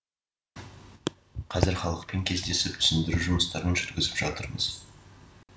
қазір халықпен кездесіп түсіндіру жұмыстарын жүргізіп жатырмыз